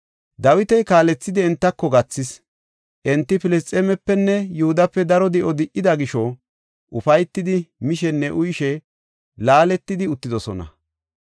Dawita kaalethidi entako gathis. Enti Filisxeemepenne Yihudape daro di7o di77ida gisho ufaytidi mishenne uyishe laaletidi uttidosona.